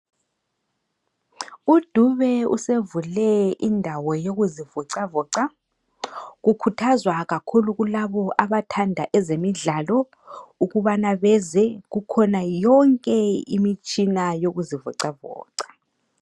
UDube usevule indawo yokuzivocavoca . Kukuthazwa kakhulu kulabo abathanda ezemidlalo ukubana beze, kukhona yonke imitshina yokuzivocavoca.